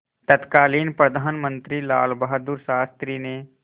तत्कालीन प्रधानमंत्री लालबहादुर शास्त्री ने